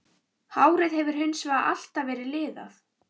Hárið hefur hins vegar alltaf verið liðað.